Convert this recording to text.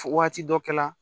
Fo waati dɔ kɛ la